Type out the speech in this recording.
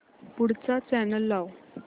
पुढचा चॅनल लाव